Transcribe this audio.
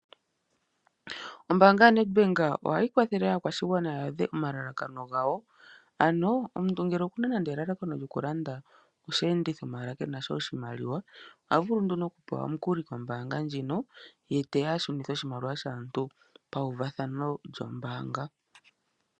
Ombaanga yoNedbank ohayi kwathele aakwashigwana ya adhe omalalakano gawo. Ano omuntu ngele okuna nande elalakano lyokulanda osheenditho maala kenasha oshimaliwa, ohavulu nduno okupewa omukuli kombaanga ndjino ye te ya ashunithe oshimaliwa shaantu pawuvathano lyombaanga.